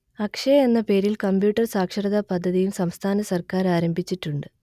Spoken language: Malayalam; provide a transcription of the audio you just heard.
അക്ഷയ എന്ന പേരിൽ കമ്പ്യൂട്ടർ സാക്ഷരതാ പദ്ധതിയും സംസ്ഥാന സർക്കാർ ആരംഭിച്ചിട്ടുണ്ട്